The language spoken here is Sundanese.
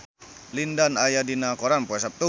Lin Dan aya dina koran poe Saptu